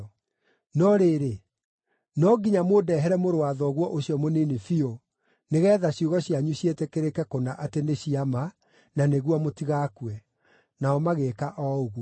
No rĩrĩ, no nginya mũndehere mũrũ wa thoguo ũcio mũnini biũ, nĩgeetha ciugo cianyu ciĩtĩkĩrĩke kũna atĩ nĩ cia ma, na nĩguo mũtigakue.” Nao magĩĩka o ũguo.